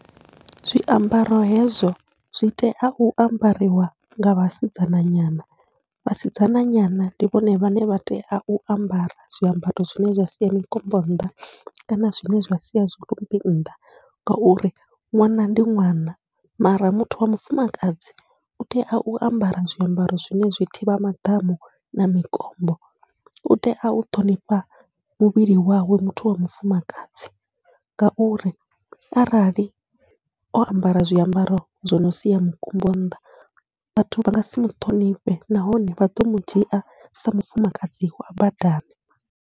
Zwiambaro hezwo zwi tea u ambariwa nga vhasidzana nyana, vhasidzana nyana ndi vhone vhane vha tea u ambara zwiambaro zwine zwa sia mikombo nnḓa, kana zwine zwa sia zwirumbi nnḓa ngauri ṅwana ndi ṅwana mara muthu wa mufumakadzi utea u ambara zwiambaro zwine zwi thivha maḓamu na mikombo, utea u ṱhonifha muvhili wawe muthu wa mufumakadzi. Ngauri arali o ambara zwiambaro zwi no sia mukombo nnḓa, vhathu vha ngasi muṱhonifhe nahone vha ḓo mudzhia sa mufumakadzi wa badani.